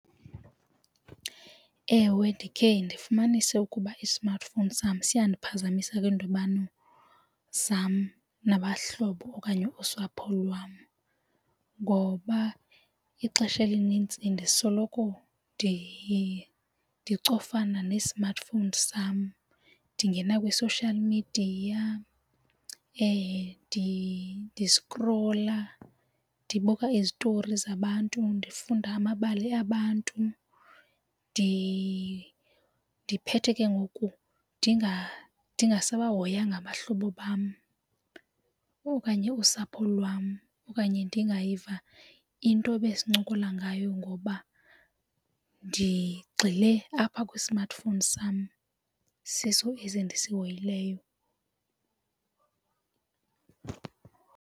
Ewe, ndikhe ndifumanise ukuba i-smartphone sam siyandiphazamisa kwiindibano zam nabahlobo okanye usapho lwam ngoba ixesha elinintsi ndisoloko ndicofana ne-smartphone sam, ndingena kwi-social media ndiskrola ndibuka izitory zabantu ndifunda amabali abantu. Ndiphethe ke ngoku ndinga sabahoyanga abahlobo bam okanye usapho lwam okanye ndingayiva into ebesincokola ngayo ngoba ndigxile apha kwi-smartphone sam siso esi ndisihoyileyo.